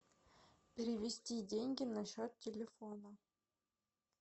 перевести деньги на счет телефона